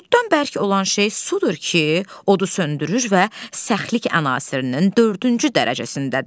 Otdan bərk olan şey sudur ki, odu söndürür və səxlik ən asirinin dördüncü dərəcəsindədir.